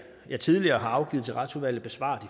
jeg tidligere har afgivet til retsudvalget besvarer